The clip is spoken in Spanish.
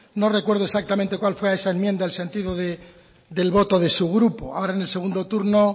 no recuerdo exactamente cuál fue a esa enmienda el sentido del voto de su grupo ahora en el segundo turno